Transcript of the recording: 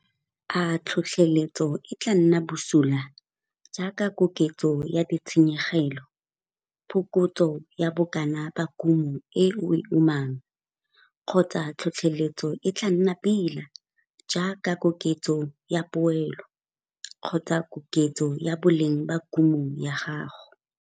A tlhotlheletso e tlaa nna bosula - jaaka koketso ya ditshenyegelo, phokotso ya bokana ba kumo e o e umang, kgotsa tlhotlheletso e tlaa nna pila - jaaka koketso ya poelo, kgotsa koketso ya boleng ba kumo ya gago.